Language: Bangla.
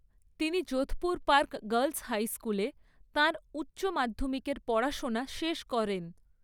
তিনি যোধপুর পার্ক গার্লস হাই স্কুলে তাঁর উচ্চ মাধ্যমিকের পড়াশোনা শেষ করেন।